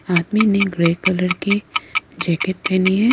आदमी ने grey colour की जैकेट पहनी है।